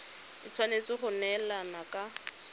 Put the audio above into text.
e tshwanetse go neelana ka